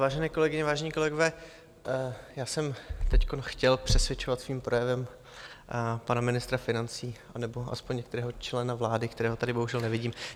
Vážené kolegyně, vážení kolegové, já jsem teď chtěl přesvědčovat svým projevem pana ministra financí nebo aspoň některého člena vlády, kterého tady bohužel nevidím.